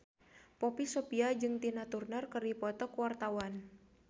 Poppy Sovia jeung Tina Turner keur dipoto ku wartawan